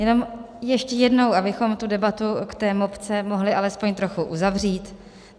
Jenom ještě jednou, abychom tu debatu k té mopce mohli alespoň trochu uzavřít.